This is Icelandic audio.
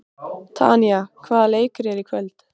Tanya, hvaða leikir eru í kvöld?